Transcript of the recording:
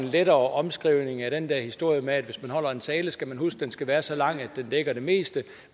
en lettere omskrivning af den der historie med at hvis man holder en tale skal man huske at den skal være så lang at den dækker det meste